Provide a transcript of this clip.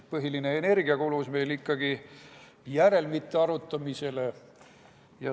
Põhiline energia kulus meil ikkagi järelmite arutamisele.